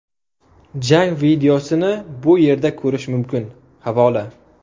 Jang videosini bu yerda ko‘rish mumkin → havola .